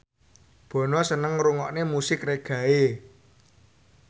Bono seneng ngrungokne musik reggae